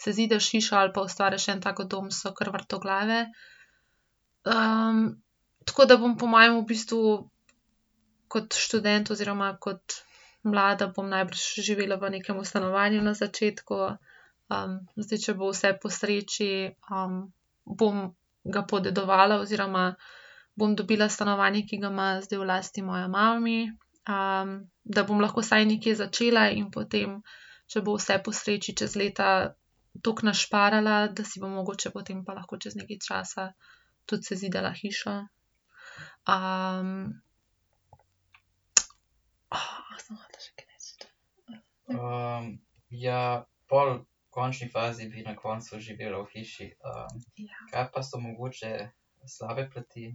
sezidaš hišo ali pa ustvariš en tak dom, so kar vrtoglave. tako da bom po mojem v bistvu kot študent oziroma kot mlada bom najbrž živela v nekem stanovanju na začetku. zdaj, če bo vse po sreči, bom ga podedovala oziroma bom dobila stanovanje, ki ga ima zdaj v lasti moja mami, da bom lahko vsaj nekje začela in potem, če bo vse po sreči, čez leta tako našparala, da si bom mogoče potem pa lahko čez nekaj časa tudi sezidala hišo. A sem hotela še kaj reči? slab ... Ja. Slabe plati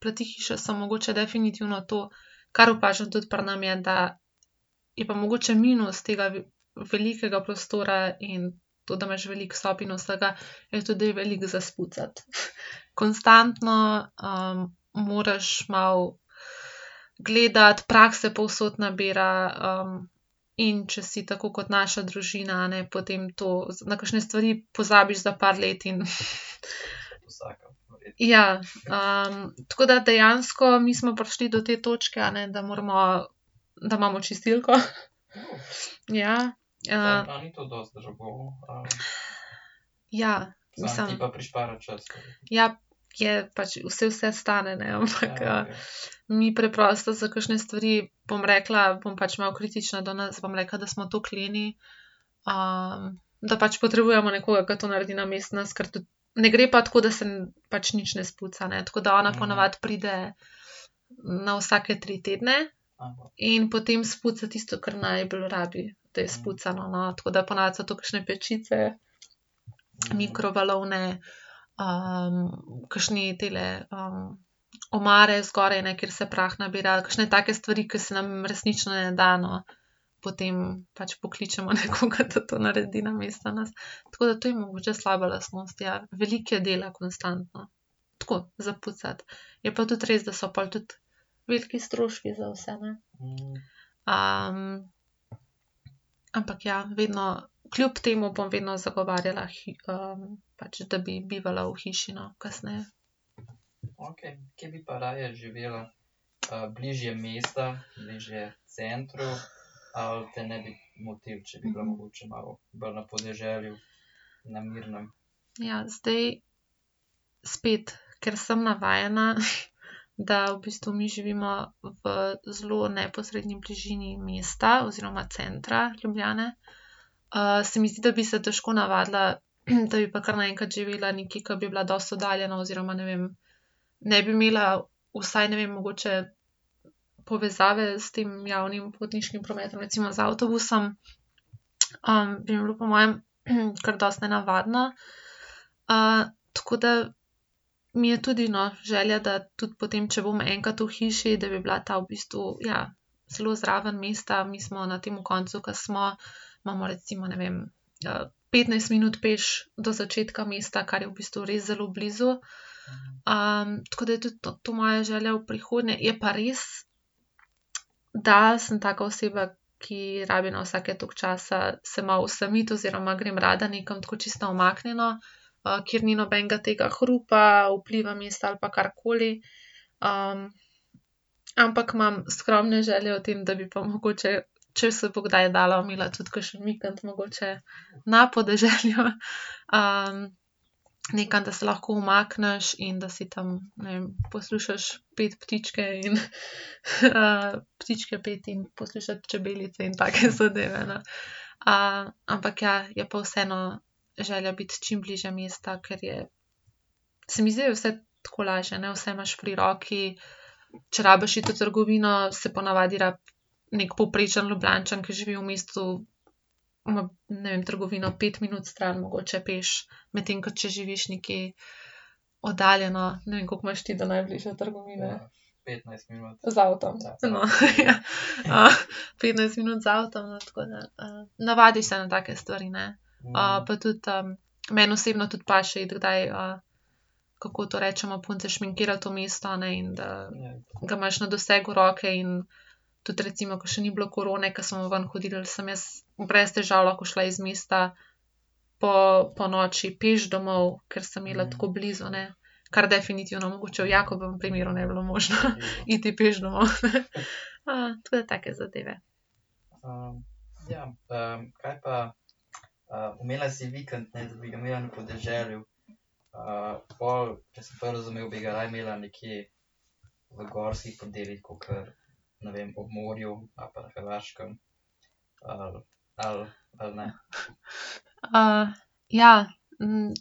plati hiše so mogoče definitivno to, kar opažam tudi pri nas, je, da je pa mogoče minus tega velikega prostora in to, da imaš veliko sob in vsega, je to, da je veliko za spucati. Konstantno, moraš malo gledati, prah se povsod nabira, in če si tako kot naša družina, a ne, potem to na kakšne stvari pozabiš za par let in ... Ja. tako da dejansko mi smo prišli do te točke, a ne, da moramo, da imamo čistilko. Ja. Ja. Mislim ... Ja, je pač, saj vse stane, ne, ampak, mi preprosto za kakšne stvari, bom rekla, bom pač malo kritična do nas, bom rekla, da smo toliko leni, da pač potrebujmo nekoga, ke to naredi namesto nas, ker tudi ... Ne gre pa tako, da se pač nič ne spuca, ne. Tako da ona po navadi pride na vsake tri tedne in potem spuca tisto, kar najbolj rabi, da je spucano, no. Tako da po navadi so to kakšne pečice, mikrovalovne, kakšne tele, omare zgoraj, ne, kjer se prah nabira. Kakšne take stvari, ke se nam resnično ne da, no. Potem pač pokličemo nekoga, da to naredi namesto nas. Tako da to je mogoče slaba lastnost, ja. Veliko je dela konstantno. Tako, za pucati. Je pa tudi res, da so pol tudi veliki stroški za vse, ne. ampak ja, vedno, kljub temu bom vedno zagovarjala pač da bi bivala v hiši, no, kasneje. Ja. Zdaj spet, ker sem navajena, da v bistvu mi živimo v zelo neposredni bližini mesta oziroma centra Ljubljane, se mi zdi, da bi se težko navadila, da bi pa kar naenkrat živela nekje, ke bi bila dosti oddaljena oziroma ne vem, ne bi imela vsaj, ne vem, mogoče povezave s tem javnim potniškim prometom, recimo z avtobusom, bi mi bilo po mojem kar dosti nenavadno. tako da mi je tudi, no, želja, da tudi potem, če bom enkrat v hiši, da bi bila ta v bistvu, ja, zelo zraven mesta. Mi smo na tem koncu, ke smo, imamo recimo, ne vem, petnajst minut peš do začetka mesta, kar je v bistvu res zelo blizu. tako da je tudi to moja želja v prihodnje. Je pa res, da sem taka oseba, ki rabi na vsake toliko časa se malo osamiti oziroma grem rada nekam tako, čisto na umaknjeno, kjer ni nobenega tega hrupa, vpliva mesta ali pa karkoli, ampak imam skromne želje o tem, da bi pa mogoče, če se bo kdaj dalo, imela tudi kakšen vikend mogoče na podeželju. nekam, da se lahko umakneš in da si tam. Ne vem, poslušaš peti ptičke in, ptičke peti in poslušaš čebelice in take zadeve, ne. ampak ja, je pa vseeno želja biti čim bližje mesta, ker je, se mi zdi, da je vse tako lažje, ne. Vse imaš pri roki, če rabiš iti v trgovino, se po navadi rabi neki povprečni Ljubljančan, ki živi v mestu, ma, ne vem, trgovino pet minut stran mogoče peš. Medtem ko če živiš nekje oddaljeno, ne vem, koliko imaš ti do najbližje trgovine? Z avtom? No, ja. petnajst minut z avtom, tako da, navadiš se na take stvari, ne. pa tudi, meni osebno tudi paše iti kdaj, kako to rečemo punce, šminkirat v mesto, a ne, in da ga imaš na dosegu roke in tudi recimo, ke še ni bilo korone, ke smo ven hodili, sem jaz brez težav lahko šla iz mesta ponoči peš domov, ker sem imela tako blizu, ne. Kar definitivno mogoče v Jakobovem primeru ne bi bilo možno, iti peš domov. tako da take zadeve. ja.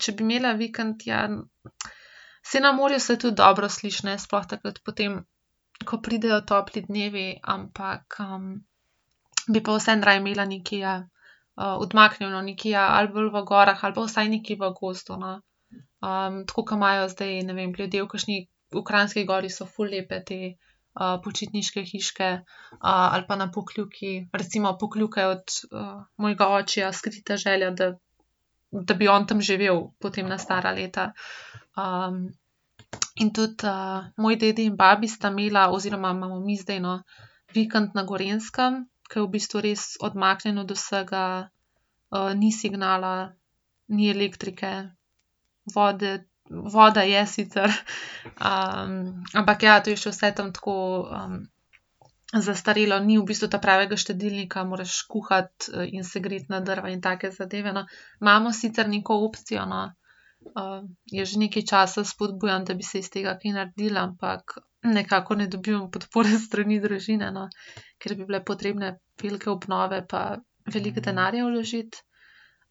če bi imela vikend, ja, saj na morju se tudi dobro sliši, ne, sploh takrat potem, ko pridejo topli dnevi. Ampak, bi pa vseeno raje imela nekaj, ja, odmaknjeno, nekaj, ja, ali bolj v gorah ali pa vsaj nekje v gozdu, no. tako, ke imajo zdaj, ne vem, ljudje v kakšni, v Kranjski Gori so ful lepe te, počitniške hiške, ali pa na Pokljuki. Recimo Pokljuka je od, mojega očija skrita želja, da, da bi on tam živel potem na stara leta. in tudi, moj dedi in babi sta imela, oziroma imamo mi zdaj, no, vikend na Gorenjskem, ke je v bistvu res odmaknjen od vsega, ni signala, ni elektrike, vode, voda je sicer, ampak ja, to je še vse tam tako, zastarelo. Ni v bistvu ta pravega štedilnika, moraš kuhati, in se greti na drva in take zadeve, no. Imamo sicer neko opcijo, no, jaz že nekaj časa spodbujam, da bi se iz tega kaj naredilo, ampak nekako ne dobim podpore s strani družine, no, ker bi bile potrebne velike obnove pa veliko denarja vložiti.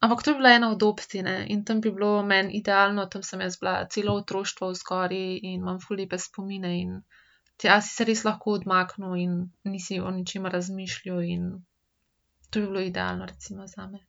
Ampak to bi bila ena od opcij, ne. In tam bi bilo meni idealno, tam sem jaz bila celo otroštvo zgoraj in imam ful lepe spomine in tja si se res lahko odmaknil in nisi o ničemer razmišljal in to bi bilo idealno recimo zame.